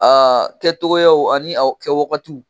Aa kɛtogoyaw ani aw kɛwagatiw